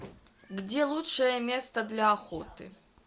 где лучшее место для охоты